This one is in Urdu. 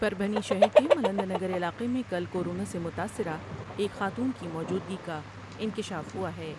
پربھنی شہر کے ملند نگر علاقے میں کل کو رونا سے متاثرہ ایک خاتون کی موجودگی کا انکشاف ہوا ہے ۔